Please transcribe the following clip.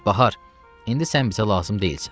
Bahar, indi sən bizə lazım deyilsən.